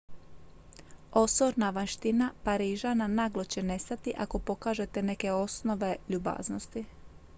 osorna vanjština parižana naglo će nestati ako pokažete neke osnove ljubaznosti